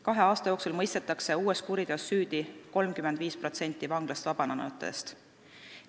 Kahe aasta jooksul mõistetakse uues kuriteos süüdi 35% vanglast vabanenutest.